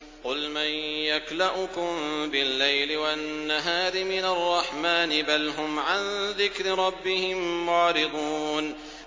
قُلْ مَن يَكْلَؤُكُم بِاللَّيْلِ وَالنَّهَارِ مِنَ الرَّحْمَٰنِ ۗ بَلْ هُمْ عَن ذِكْرِ رَبِّهِم مُّعْرِضُونَ